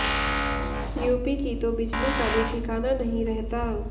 UP की तो बिजली का भी ठिकाना नही रहता